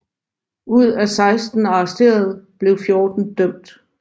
Ud af 16 arresterede blev 14 dømt